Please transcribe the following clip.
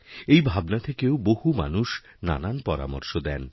এইভাবনা থেকেও বহু মানুষ নানা পরামর্শ দেন